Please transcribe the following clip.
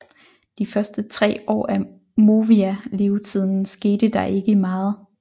De første 3 år af Movia levetiden skete der ikke meget